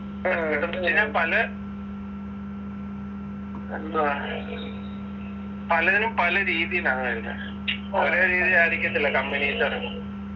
വെച്ചയിഞ്ഞാൽ പല എന്താ പലതിലും പല രീതിയിലാണ് വരുന്നത് ഒരേ രീതിയിലായിരിക്കത്തില്ല companies